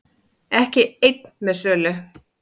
Ekki einn með sölu